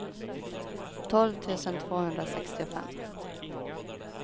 tolv tusen tvåhundrasextiofem